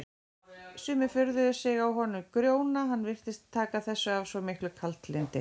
Sumir furðuðu sig á honum Grjóna, hann virtist taka þessu af svo miklu kaldlyndi.